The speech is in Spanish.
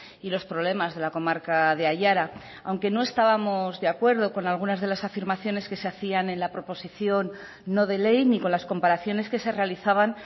y los problemas de la comarca de aiara aunque no estábamos de acuerdo con algunas de las afirmaciones que se hacían en la proposición no de ley ni con las comparaciones que se realizaban